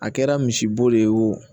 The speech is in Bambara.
A kɛra misibo de ye o